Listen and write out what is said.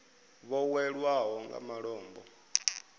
vho hwelwaho nga malombo a